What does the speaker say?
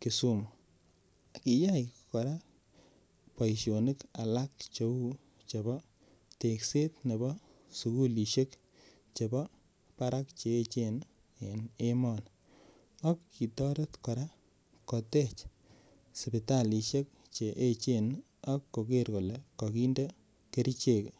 Kisumu kiyai kora boisionik alak cheu chepo tekset nepo sukulishek chepo barak cheechen en emoni ak kitoret kora kotech sipitalishek cheechen akoker kole kakinde kerchek yoto.